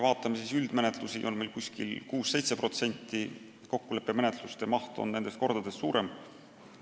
Üldmenetlusi on meil 6–7%, kokkuleppemenetluste osakaal on kordades suurem.